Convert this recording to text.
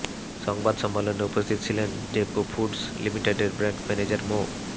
সংবাদ সম্মেলনে উপস্থিত ছিলেন ডেকো ফুডস লিমিটেডের ব্র্যান্ড ম্যানেজার মো